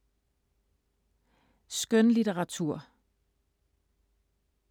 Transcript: Skønlitteratur